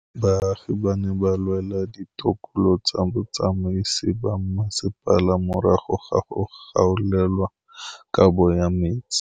Baagi ba ne ba lwa le ditokolo tsa botsamaisi ba mmasepala morago ga go gaolelwa kabo metsi.